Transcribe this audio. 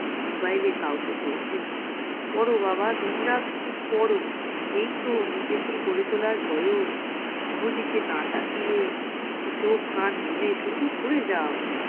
mobile এ কাউকে বলছেন পরো বাবা দিনরাত শুধু পড়ো এইতো নিজেকে গড়ে তোলার বয়স কোন দিকে না তাকিয়ে চোখ কান বুঝে শুধু পড়ে যাও।